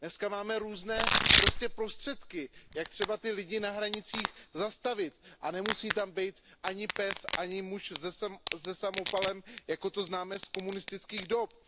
Dneska máme různé prostředky, jak ty lidi na hranicích zastavit a nemusí tam být ani pes, ani muž se samopalem, jako to známe z komunistických dob.